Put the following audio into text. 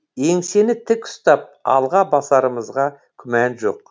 еңсені тік ұстап алға басарымызға күмән жоқ